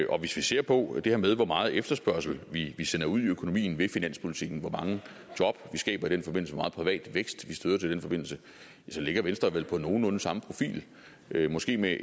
og hvis vi ser på det her med hvor meget efterspørgsel vi sender ud i økonomien ved finanspolitikken hvor mange job vi skaber i den forbindelse hvor meget privat vækst vi støtter i den forbindelse ja så ligger venstre vel med nogenlunde samme profil måske med